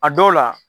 A dɔw la